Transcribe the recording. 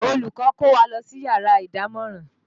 Olùkọ́ kó wa lọ sí yàrá ìdámọ̀ràn